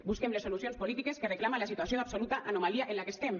busquem les solucions polítiques que reclama la situació d’absoluta anomalia en la que estem